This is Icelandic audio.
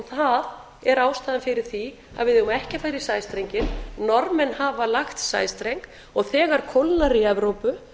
það er ástæðan fyrir því að við eigum ekki að fara í sæstrenginn norðmenn hafa lagt sæstreng og þegar kólnar í evrópu